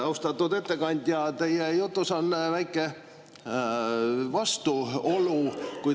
Austatud ettekandja, teie jutus on väike vastuolu.